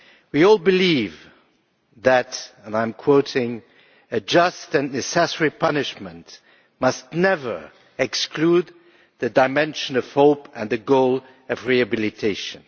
We all believe that, and I am quoting, a just and necessary punishment must never exclude the dimension of hope and the goal of rehabilitation'.